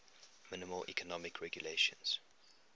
minimal economic regulations